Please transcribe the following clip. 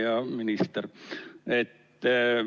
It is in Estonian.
Hea minister!